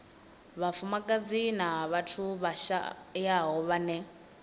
vhafumakadzi na vhathu vhashayaho vhane